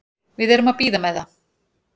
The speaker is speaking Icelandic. Við erum að bíða með það.